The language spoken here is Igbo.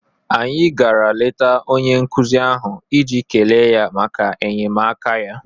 Anyị gara leta onye nkụzi ahụ iji kelee ya maka enyemaka ya.